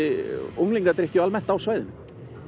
unglingadrykkju á svæðinu